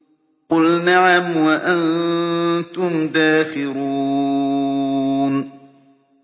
قُلْ نَعَمْ وَأَنتُمْ دَاخِرُونَ